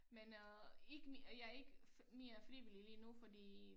Men øh ikke mere jeg ikke mere frivillig lige nu fordi